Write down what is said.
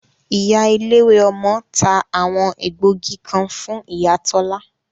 Ìyá eléwé ọmọ ta àwọn egbògi kan fún ìyá Tola